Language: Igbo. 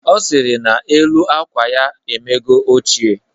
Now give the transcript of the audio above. Ọ sịrị na elu akwa ya emego ochie